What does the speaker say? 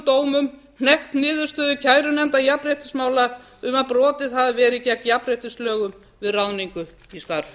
dómum hnekkt niðurstöðu kærunefndar jafnréttismála um að brotið hafi verið gegn jafnréttislögum við ráðningu í starf